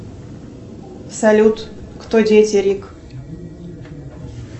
салют кто дети рик